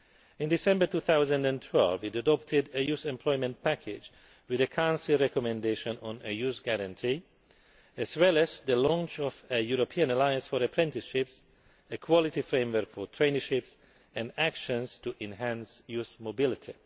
In December 2012, it adopted a Youth Employment Package with a Council recommendation on a Youth Guarantee, as well as the launch of a European Alliance for Apprenticeships, a Quality Framework for Traineeships, and actions to enhance youth mobility.